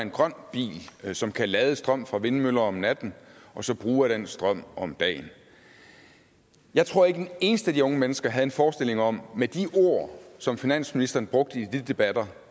en grøn bil som kan strøm fra vindmøller om natten og så bruge af den strøm om dagen jeg tror ikke at et eneste af de unge mennesker havde en forestilling om med de ord som finansministeren brugte i de debatter